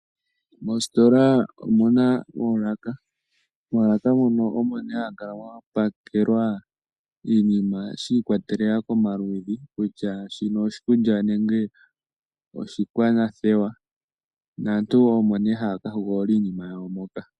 Moositola omuna oolaka. Moolaka mono omo ne hamu kala mwa pakelwa iinima shi ikwatelela komaludhi, kutya shino oshikulya, nenge oshikwanathewa, naantu omo nee haya ka hogolola iinima yawo moka.